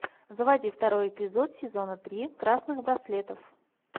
заводи второй эпизод сезона три красных браслетов